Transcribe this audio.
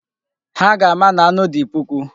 Ha ga-ama na anụ dị puku.